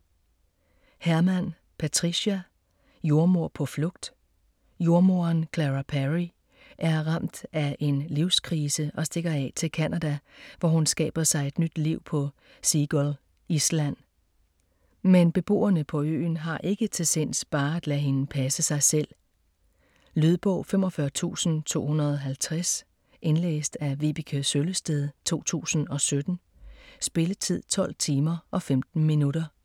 Harman, Patricia: Jordemoder på flugt Jordemoderen Clara Perry er ramt af en livskrise og stikker af til Canada, hvor hun skaber sig et nyt liv på Seagull Island. Men beboerne på øen har ikke til sinds bare at lade hende passe sig selv. Lydbog 45250 Indlæst af Vibeke Søllested, 2017. Spilletid: 12 timer, 15 minutter.